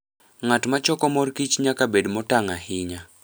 Ng'at ma choko mor kich nyaka bed motang' ahinya.